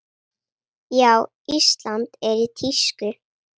Já, Ísland er í tísku.